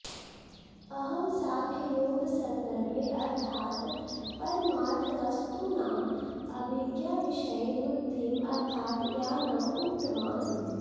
अहं साङ्ख्ययोगसन्दर्भे अर्थात् परमार्थवस्तूनाम् अभिज्ञाविषये बुद्धिम् अर्थात् ज्ञानम् उक्तवान्